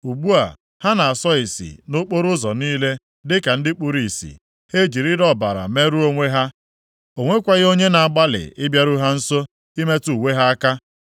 Ugbu a, ha na-asọ isi nʼokporoụzọ niile, dịka ndị kpuru ìsì. Ha ejirila ọbara merụọ onwe ha. O nwekwaghị onye na-agbalị ịbịaru ha nso ịmetụ uwe ha aka.